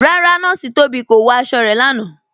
Rárá, Nọọ̀ṣì Tóbi kò wọ̀ àṣọ̀ rẹ̀ lánà.